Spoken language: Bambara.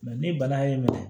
ni bana y'i minɛ